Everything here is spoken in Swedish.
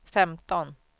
femton